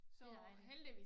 Det dejligt